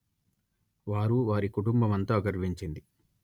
వారు వారి కుటుంబమంతా గర్వించింది